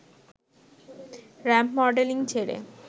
ramp modelling ছেড়ে